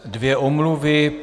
Dvě omluvy.